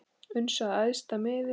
uns að æðsta miði